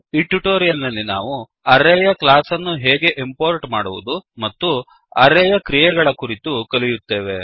ಈ ಟ್ಯುಟೋರಿಯಲ್ ನಲ್ಲಿ ನಾವು ಅರೇ ಯ ಕ್ಲಾಸ್ ಅನ್ನು ಹೇಗೆ ಇಂಪೋರ್ಟ್ ಮಾಡುವುದು ಮತ್ತು ಅರೇಯ ಕ್ರಿಯೆಗಳ ಕುರಿತು ಕಲಿಯುತ್ತೇವೆ